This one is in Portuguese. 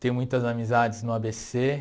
Tenho muitas amizades no á bê cê